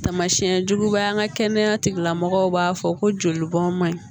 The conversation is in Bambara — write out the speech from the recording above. Tamasiyɛn juguba ye an ka kɛnɛya tigilamɔgɔw b'a fɔ ko joli bɔn man ɲi